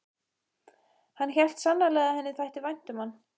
Hann hélt sannarlega að henni þætti vænt um hann.